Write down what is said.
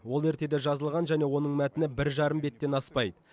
ол ертеде жазылған және оның мәтіні бір жарым беттен аспайды